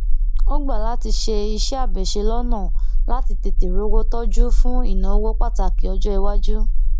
ó gbà láti ṣe iṣéàbẹṣe lọnà láti tètè rówó tọjú fún ìnáwó pàtàkì ọjọiwájú